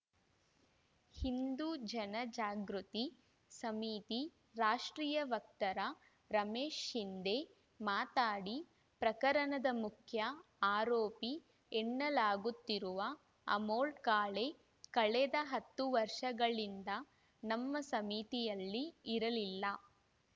ಹಿಂದು ಜನಜಾಗೃತಿ ಸಮಿತಿ ರಾಷ್ಟ್ರೀಯ ವಕ್ತಾರ ರಮೇಶ್‌ ಶಿಂಧೆ ಮಾತಾಡಿ ಪ್ರಕರಣದ ಮುಖ್ಯ ಆರೋಪಿ ಎನ್ನಲಾಗುತ್ತಿರುವ ಅಮೋಲ್‌ ಕಾಳೆ ಕಳೆದ ಹತ್ತು ವರ್ಷಗಳಿಂದ ನಮ್ಮ ಸಮಿತಿಯಲ್ಲಿ ಇರಲಿಲ್ಲ